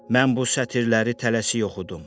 Mən bu sətirləri tələsik oxudum.